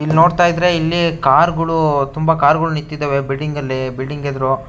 ಇಲ್ ನೋಡ್ತಾ ಇದ್ರೆ ಕಾರ್ ಗಳು ತುಂಬಾ ಕಾರ್ ಗಳು ನಿಂತಿದ್ದಾವೆ ಬಿಲ್ಡಿಂಗ್ ಅಲ್ಲಿ ಬಿಲ್ಡಿಂಗ್ ಎದ್ರು.--